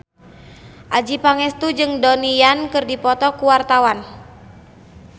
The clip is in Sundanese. Adjie Pangestu jeung Donnie Yan keur dipoto ku wartawan